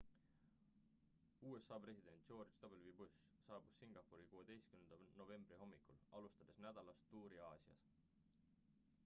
usa president george w bush saabus singapuri 16 novembri hommikul alustades nädalast tuuri aasias